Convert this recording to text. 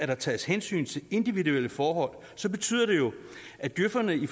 der tages hensyn til individuelle forhold betyder det jo at djøferne i